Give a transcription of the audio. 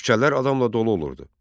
Küçələr adamla dolu olurdu.